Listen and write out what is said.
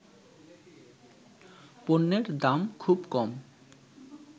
পণ্যের দাম খুব কম